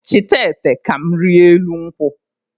Chịta ete ka m rịa elu nkwụ!